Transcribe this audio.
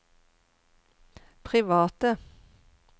private